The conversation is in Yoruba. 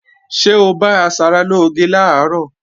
Ṣé o bá asaralóge làárọ̀?